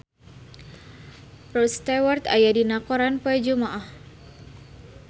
Rod Stewart aya dina koran poe Jumaah